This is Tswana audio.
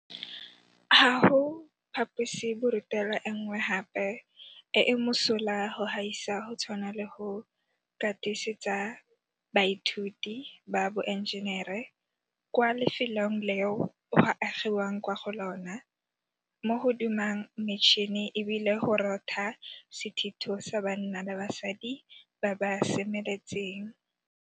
Ga go phaposiborutelo e nngwe gape e e mosola go gaisa go tshwana le go katise tsa baithuti ba boenjenere kwa lefelong leo go agi wang kwa go lona mo go dumang metšhini e bile go rotha sethitho sa banna le basadi ba ba semeletseng.